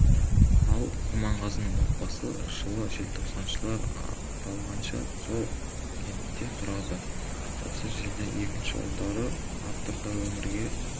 ал құрманғазының отбасы жылы желтоқсаншылар ақталғанша сол кентте тұрады осы жерде екінші ұлдары артұр да өмірге